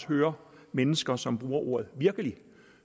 høre mennesker som bruger ordet virkelig